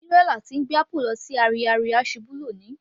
Tírélà tí ń gbé apple lọ sí ọjà Ariaria ṣubú lóni